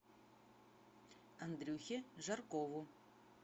андрюхе жаркову